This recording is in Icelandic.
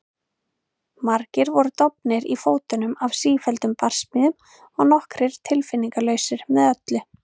Margir voru dofnir í fótum af sífelldum barsmíðum og nokkrir tilfinningalausir með öllu.